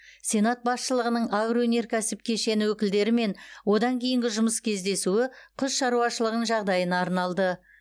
сенат басшылығының агроөнеркәсіп кешені өкілдерімен одан кейінгі жұмыс кездесуі құс шаруашылығының жағдайына арналды